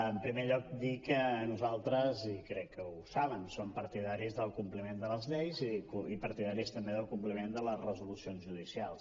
en primer lloc dir que nosaltres i crec que ho saben som partidaris del compliment de les lleis i partidaris també del compliment de les resolucions judicials